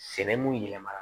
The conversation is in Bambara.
Sɛnɛ mun yɛlɛma